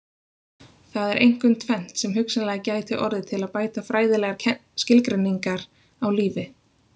Það er einkum tvennt sem hugsanlega gæti orðið til að bæta fræðilegar skilgreiningar á lífi.